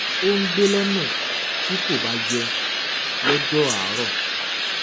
ó ń gbẹ lọnà tí kò bá yé lọjọ àárọ